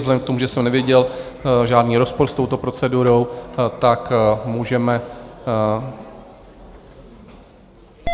Vzhledem k tomu, že jsem neviděl žádný rozpor s touto procedurou, tak můžeme...